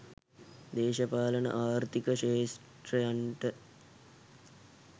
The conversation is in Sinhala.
දේශපාලන ආර්ථික ක්‍ෂේත්‍රයන්ට